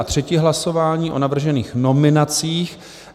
A třetí hlasování o navržených nominacích.